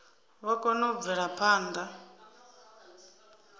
vha kone u bvela phanḓa